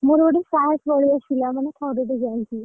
ମୋର ଟିକେ ସାହସ ପଳେଈ ଆସିଲା ଥରଟେ ଯାଇକି।